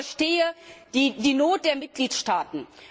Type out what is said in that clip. Ich verstehe die Not der Mitgliedstaaten.